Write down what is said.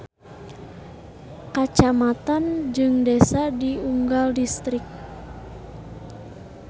Kacamatan jeung desa di unggal distrik.